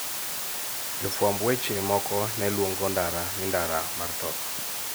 Jofwamb weche moko ne luongo ndara ni ' ndara mar tho. '